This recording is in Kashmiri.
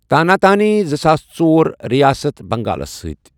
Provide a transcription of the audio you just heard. تانا تانی زٕساس ژور، رِیاسَتھ بنٛگالس سٕتی